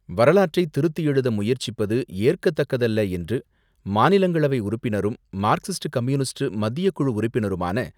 வரலாற்றை திருத்தி எழுத முயற்சிப்பது ஏற்கத்தக்கதல்ல என்று மாநிலங்களை வை உறுப்பினரும், மார்க்சிஸ்ட் கம்யூனிஸ்ட் மத்தியக்குழு உறுப்பினருமான,